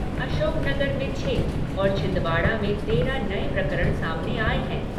अशोकनगर में छः और छिंदवाड़ा में तेरह नए प्रकरण सामने आए हैं।